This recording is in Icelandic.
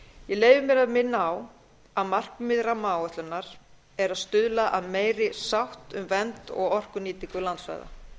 ég leyfi mér að minna á að markmið rammaáætlunar er að stuðla að meiri sátt um vernd og orkunýtingu landsvæða